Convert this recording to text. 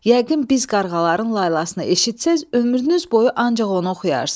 Yəqin biz qarğaların laylasını eşitsəz, ömrünüz boyu ancaq onu oxuyarsız.